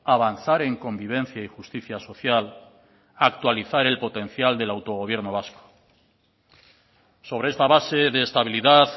avanzar en convivencia y justicia social actualizar el potencial del autogobierno vasco sobre esta base de estabilidad